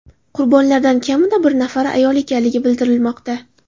Qurbonlardan kamida bir nafari ayol ekanligi bildirilmoqda.